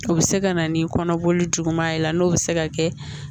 O bɛ se ka na ni kɔnɔboli juguman ye n'o bɛ se ka kɛ